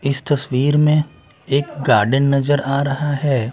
इस तस्वीर में एक गार्डन नजर आ रहा हैं।